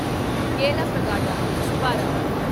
Yellapragada Subbarao